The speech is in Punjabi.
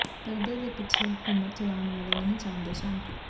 ਪਰਦੇ ਦੇ ਪਿੱਛੇ ਹਕੂਮਤ ਚਲਾਉਣ ਵਾਲੇ ਨਹੀਂ ਚਾਹੁੰਦੇ ਸ਼ਾਂਤੀ